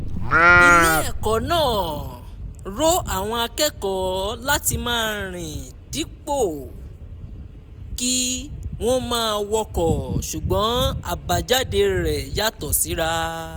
ilé ẹ̀kọ́ náà rọ àwọn akẹ́kọ̀ọ́ láti máa rìn dípò kí wọ́n máa wọkọ̀ ṣùgbọ́n àbájáde rẹ̀ yàtọ̀ síra